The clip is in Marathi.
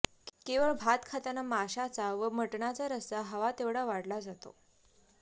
केवळ भात खाताना माशाचा व मटणाचा रस्सा हवा तेवढा वाढला जातो